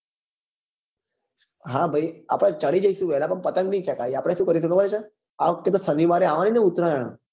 હા ભાઈ આપડે ચડી જઈશું વેલા પણ પતંગ ની ચગાવીએ આપડે શું કરીશું ખબર છે આ વખતે તો શનિવારે હોય ને ઉતરાયણ